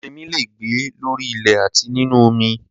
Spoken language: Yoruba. Ẹrinmi le è gbé lórí ilẹ̀ àti nínu omi